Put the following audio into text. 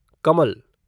कमल